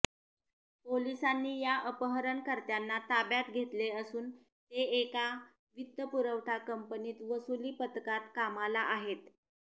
पोलिसांनी या अपहरणकर्त्यांना ताब्यात घेतले असून ते एका वित्तपुरवठा कंपनीत वसुली पथकात कामाला आहेत